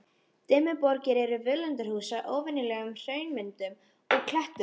Dimmuborgir eru völundarhús af óvenjulegum hraunmyndunum og klettum.